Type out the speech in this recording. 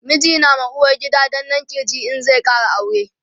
miji na ma uwargida danna kirji in zai Kara aure